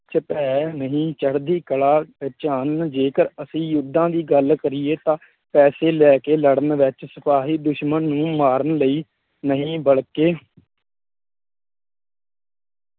ਚ ਭੈਅ ਨਹੀ ਚੜ੍ਹਦੀ ਕਲਾਂ ਵਿੱਚ ਹਨ ਅਤੇ ਜੇਕਰ ਅਸੀ ਯੁਧਾਂ ਦੀ ਗੱਲ਼ ਕਰੀਏ ਤਾਂ ਪੈਸੇ ਲੈ ਲੜਨ ਵਿੱਚ ਸਿਪਾਹੀ ਦੁਸ਼ਮਣ ਨੂੰ ਮਾਰਨ ਲਈ ਨਹੀਂ ਬਲਕਿ